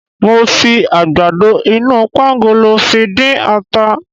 Mo fi àgbàdo inú pangolo fi dín ata.